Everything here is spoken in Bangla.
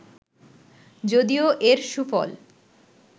যদিও এর সুফল